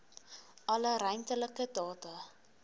alle ruimtelike data